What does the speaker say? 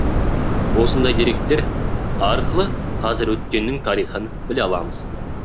осындай деректер арқылы қазір өткеннін тарихын біле аламыз